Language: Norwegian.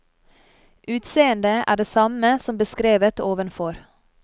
Utseende er det samme som beskrevet ovenfor.